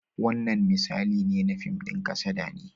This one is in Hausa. Wannan misali ne na fim ɗin kasada ne.